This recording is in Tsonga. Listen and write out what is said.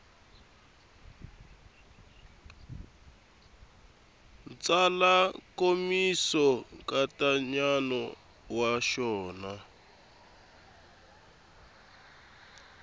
tsala nkomiso nkatsakanyo wa xona